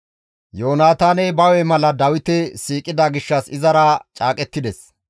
Yoonataaney Dawite mala siiqida gishshas izara caaqettides.